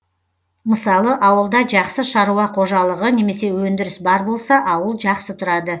мысалы ауылда жақсы шаруа қожалығы немесе өндіріс бар болса ауыл жақсы тұрады